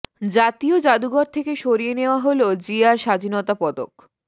জাতীয় জাদুঘর থেকে সরিয়ে নেয়া হলো জিয়ার স্বাধীনতা পদক